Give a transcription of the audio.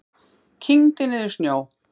Kyngdi niður snjó.